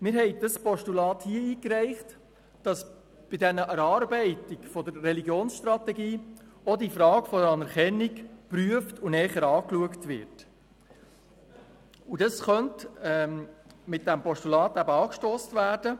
Wir haben dieses Postulat eingereicht, damit auch die Frage der Anerkennung bei der Erarbeitung der Religionsstrategie geprüft und näher betrachtet wird.